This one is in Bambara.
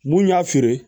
Mun y'a feere